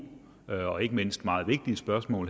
og ikke mindst meget vigtige spørgsmål